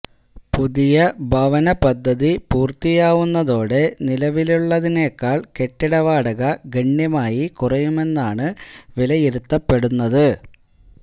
പുതിയ ഭവന പദ്ധതി പൂര്ത്തിയാവുന്നതോടെ നിലവിലുള്ളതിനേക്കാള് കെട്ടിട വാടക ഗണ്യമായി കുറയുമെന്നാണ് വിലയിരുത്തപ്പെടുന്നത്